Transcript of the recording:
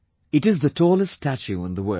It is the tallest statue in the world